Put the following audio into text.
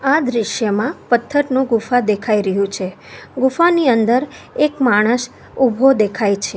આ દ્રશ્યમાં પથ્થરનું ગુફા દેખાઈ રહ્યું છે ગુફાની અંદર એક માણસ ઊભો દેખાય છે.